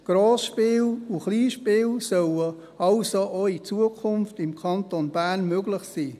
Grossspiele und Kleinspiele sollen also auch in Zukunft im Kanton Bern möglich sein.